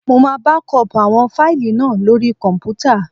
Mo máa bákọọ̀pù àwọn fáìlì náà lóri kọ̀m̀pútà.